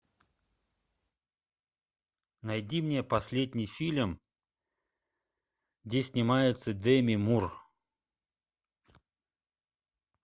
найди мне последний фильм где снимается деми мур